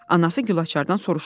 Anası Gülaçardan soruştu: